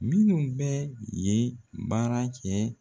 Minnu bɛ yen baara kɛ